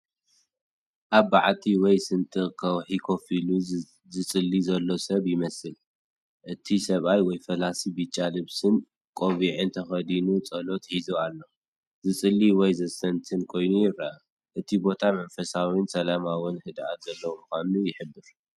ኣብ በዓቲ ወይ ስንጥቕ ከውሒ ኮፍ ኢሉ ዝፅሊ ዘሎ ሰብ ይመስል፣ እቲ ሰብኣይ /ፈላሲ ብጫ ልብስን ቆቢዕን ተኸዲኑ ጸሎት ሒዙ ኣሎ፤ ዝጽሊ ወይ ዘስተንትን ኮይኑ ይረአ። እቲ ቦታ መንፈሳውን ሰላማውን ህድኣትን ዘለዎ ምዃኑ ይሕብር!